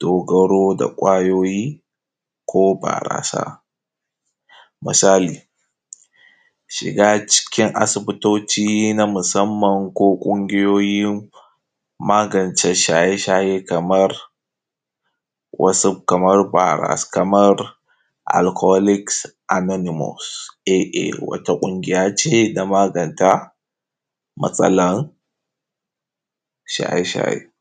dogaro da kwayoyi ko barasa, misali shiga cikin asibitoci na musanman ko ƙungiyoyin magnce shaye-shaye, kamansu kaman alkaholik amenimos, wata ƙungiya ce na magance matsalan shaye-shaye.